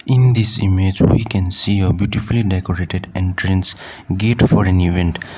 in this image we can see a beautifully decorated entrance gate for an event.